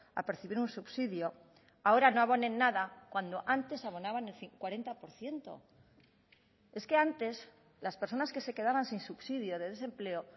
a percibir un subsidio ahora no abonen nada cuando antes abonaban el cuarenta por ciento es que antes las personas que se quedaban sin subsidio de desempleo